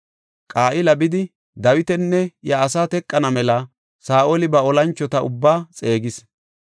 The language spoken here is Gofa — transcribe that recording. Qa7ila bidi, Dawitanne iya asaa teqana mela Saa7oli ba olanchota ubbaa xeegis.